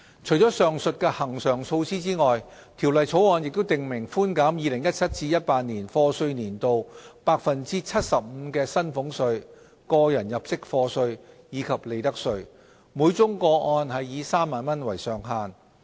除了上述恆常措施外，《條例草案》亦訂明寬減 2017-2018 課稅年度 75% 的薪俸稅、個人入息課稅，以及利得稅，每宗個案以3萬元為上限。